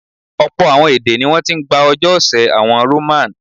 Ọ̀pọ̀ àwọn èdè ní wọ́n ti ń gbà ọjọ́ ọ̀sẹ̀ àwọn Roman.